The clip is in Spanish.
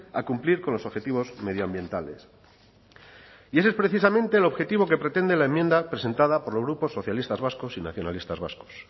a cumplir con los objetivos medioambientales y ese es precisamente el objetivo que pretende la enmienda presentada por los grupos socialistas vascos y nacionalistas vascos